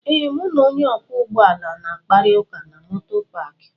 ee, m na Onye okwo ụgbọ ala na-akparịta ụka na moto paakị